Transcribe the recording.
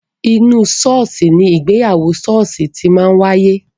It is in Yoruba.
Inú ṣọ́ọ̀ṣì ni ìgbéyàwó ṣọ́ọ̀ṣì ti máa ń wáyé.